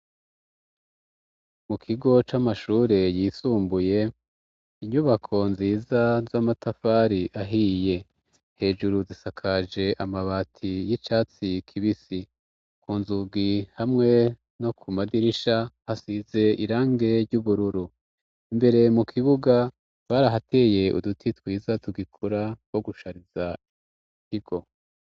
Mu kigo c'amashure yisumbuye, inyubako nziza z'amatafari ahiye hejuru zisakaje amabati y'icatsi kibisi ,ku nzugi hamwe no ku madirisha hasize irange ry'ubururu. Imbere mu kibuga barahateye uduti twiza tugikura two gushariza ikigo.